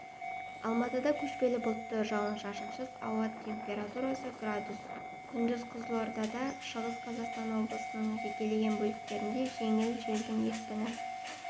алматыда көшпелі бұлтты жауын-шашынсыз ауа температурасы градус күндіз қызылорда шығыс қазақстан облыстарының жекелеген бөліктерінде желдің екпіні